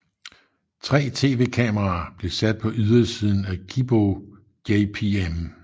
Tre tv kameraer blev sat på ydersiden af Kibō JPM